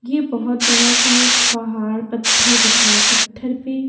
ये बहुत बड़ा सा एक पहाड़ पत्थर दिख रहा है पत्थर पे --